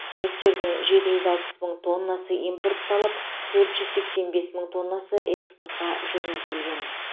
жүктердің жеті жүз алпыс мың тоннасы импортталып төрт жүз сексен бес мың тоннасы экспортқа жөнелтілген